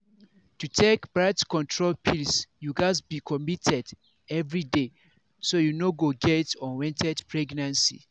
to take birth control pills you gatz be committed every day so you no go get unwanted pregnancy